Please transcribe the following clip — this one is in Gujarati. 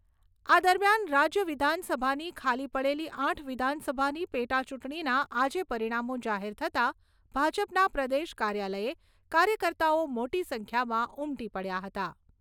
આ દરમિયાન રાજ્ય વિધાનસભાની ખાલી પડેલી આઠ વિધાનસભાની પેટાચૂંટણીના આજે પરિણામો જાહેર થતાં ભાજપના પ્રદેશ કાર્યાલયે કાર્યકર્તાઓ મોટી સંખ્યામાં ઉમટી પડ્યા હતા.